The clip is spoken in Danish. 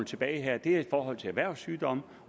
tilbage her er i forhold til erhvervssygdomme